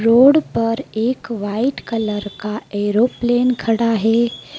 Road पर एक white colour का एरोप्लेन खड़ा है।